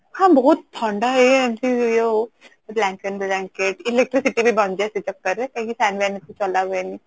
ହଁ ବହୁତ ଥଣ୍ଡା ହୁଏ ଏମିତି ହୁଏ ଅଉ electricity ବି ବଞ୍ଚେ ସେ ଚକ୍କର ରେ କାହିଁକି fan ବ୍ଯାନ ac ଚଲା ହୁଏନି